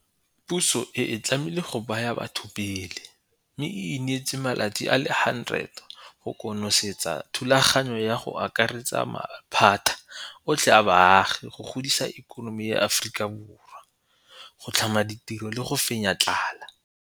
Puso e itlamile go baya batho pele, mme e ineetse malatsi a le 100 go konosetsa thulaganyo ya go akaretsa maphata otlhe a baagi go godisa ikonomi ya Aforika Borwa, go tlhama ditiro le go fenya tlala.